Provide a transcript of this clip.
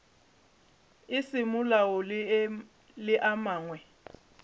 a semolao le a mangwe